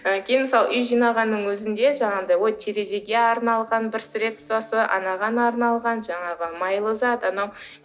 мысалы үй жинағанның өзінде жаңағындай ой терезеге арналған бір средствосы анаған арналған жаңағы майлы зат анау